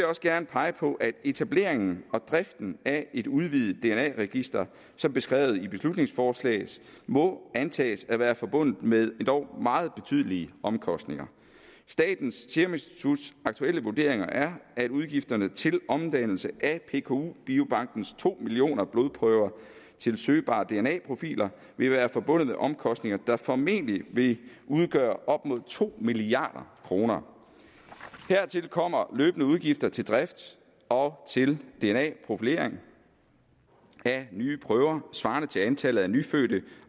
også gerne pege på at etableringen og driften af et udvidet dna register som beskrevet i beslutningsforslaget må antages at være forbundet med endog meget betydelige omkostninger statens serum instituts aktuelle vurdering er at udgifterne til omdannelse af pku biobankens to millioner blodprøver til søgbare dna profiler vil være forbundet med omkostninger der formentlig vil udgøre op mod to milliard kroner hertil kommer løbende udgifter til drift og til dna profilering af nye prøver svarende til antallet af nyfødte